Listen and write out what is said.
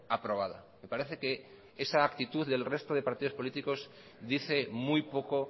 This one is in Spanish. aprobada me parece que esa actitud del resto de partidos políticos dice muy poco